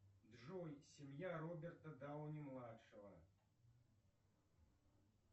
джой семья роберта дауни младшего